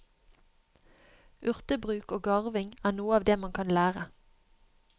Urtebruk og garving er noe av det man kan lære.